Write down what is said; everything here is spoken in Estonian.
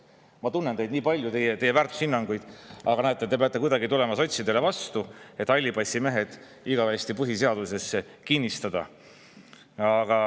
Ma tunnen teid nii palju, teie väärtushinnanguid, aga näete, te peate kuidagi tulema sotsidele vastu, et hallipassimehed igavesti põhiseadusesse kinnistada.